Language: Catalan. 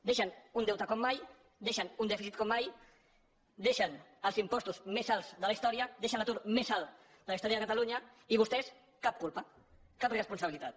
deixen un deute com mai deixen un dèficit com mai deixen els impostos més alts de la història deixen l’atur més alt de la història de catalunya i vostès cap culpa cap responsabilitat